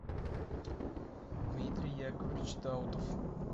дмитрий яковлевич даутов